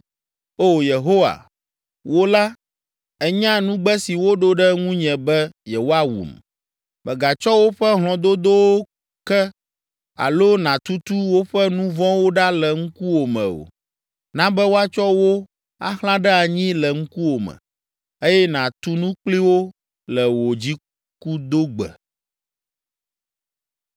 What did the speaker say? O Yehowa, wò la, ènya nugbe si woɖo ɖe ŋunye be yewoawum. Mègatsɔ woƒe hlɔ̃dodowo ke alo nàtutu woƒe nu vɔ̃wo ɖa le ŋkuwòme o. Na be woatsɔ wo axlã ɖe anyi le ŋkuwòme, eye nàtu nu kpli wo le wò dzikudogbe.